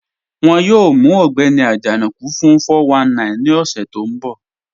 Wọ́n yóò mù Ọgbẹ́ni Ajanaku fún 419 ni ọṣẹ̀ tó nbọ̀.